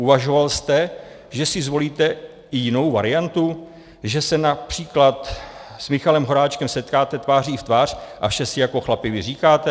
Uvažoval jste, že si zvolíte i jinou variantu, že se například s Michalem Horáčkem setkáte tváří v tvář a vše si jako chlapi vyříkáte?